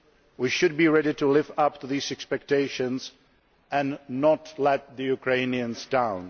We should be ready to live up to these expectations and not let the Ukrainians down.